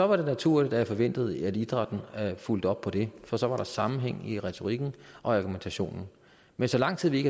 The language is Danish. var det naturligt at jeg forventede at idrætten fulgte op på det for så var der sammenhæng i retorikken og i argumentationen men så lang tid vi